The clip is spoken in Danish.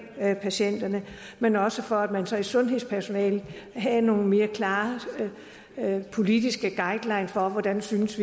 patienterne men også for at man så blandt sundhedspersonalet havde nogle mere klare politiske guidelines for hvordan vi synes